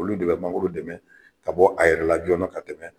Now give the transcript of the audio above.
Olu de bɛ mangoro dɛmɛ ka bɔ a yɛrɛ la jɔnna ka tɛmɛ.